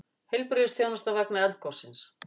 Heilbrigðisþjónusta vegna eldgossins